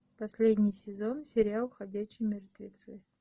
последний сезон сериал ходячие мертвецы